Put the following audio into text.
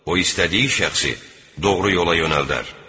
O, istədiyi şəxsi doğru yola yönəldər.